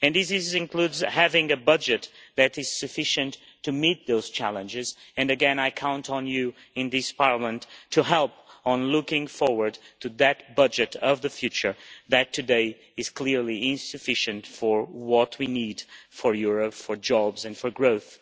This includes having a budget that is sufficient to meet those challenges and again I count on you in this Parliament to help with looking forward to that budget of the future that today is clearly insufficient for what we need for Europe, for jobs and for growth.